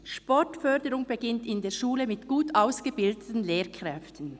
Sportförderung beginnt in der Schule mit gut ausgebildeten Lehrkräften: